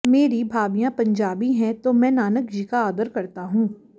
मेरी भाभीयां पंजाबी है तो मैं नानक जी का आदर करता हूं